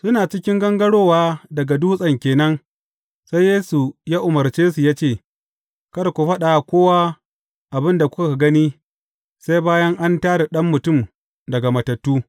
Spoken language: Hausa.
Suna cikin gangarowa daga dutsen ke nan, sai Yesu ya umarce su cewa, Kada ku faɗa wa kowa abin da kuka gani, sai bayan an tā da Ɗan Mutum daga matattu.